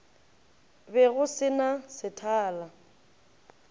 be go se na sethala